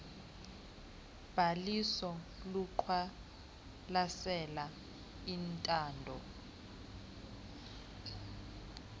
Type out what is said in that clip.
bhaliso luqwalasela intando